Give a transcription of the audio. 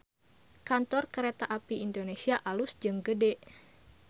Kantor Kereta Api Indonesia alus jeung gede